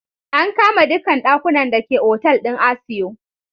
An kama dukkan dakunan da ke Otal din Asio.